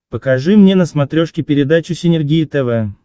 покажи мне на смотрешке передачу синергия тв